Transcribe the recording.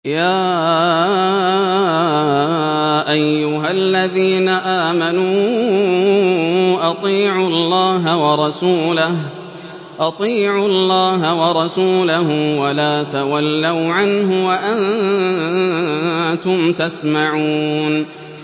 يَا أَيُّهَا الَّذِينَ آمَنُوا أَطِيعُوا اللَّهَ وَرَسُولَهُ وَلَا تَوَلَّوْا عَنْهُ وَأَنتُمْ تَسْمَعُونَ